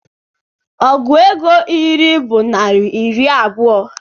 Ọgụ ego iri bụ naira iri abuo